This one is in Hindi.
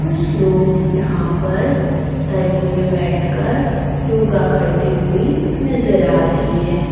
कुछ लोग यहां पर तरी में बैठकर योगा करते हुए नजर आ रहे है।